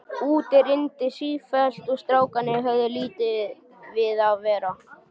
Úti rigndi sífellt og strákarnir höfðu lítið við að vera.